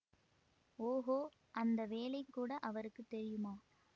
ஓகோ அந்த வேலை கூட அவருக்கு தெரியுமா